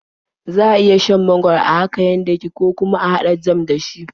Za a iya shan mangwaro haka yadda yake, ko kuma a haɗa jam da shi.